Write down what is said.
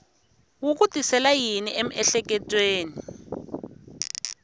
wu ku tisela yini emiehleketweni